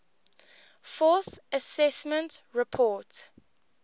fourth assessment report